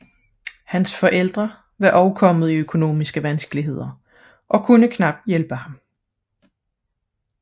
Hans forældre var samtidig kommet i økonomiske vanskeligheder og kunne knap hjælpe ham